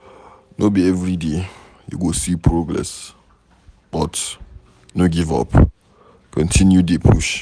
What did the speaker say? No be everyday you go see progress but no give up continue dey push